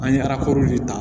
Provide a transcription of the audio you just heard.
An ye de ta